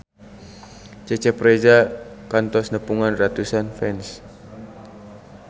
Cecep Reza kantos nepungan ratusan fans